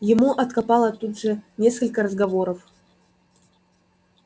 ему откопало тут же несколько разговоров